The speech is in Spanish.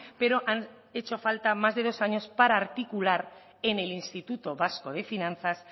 pero han hecho falta más de dos años para articular en el instituto vasco de finanzas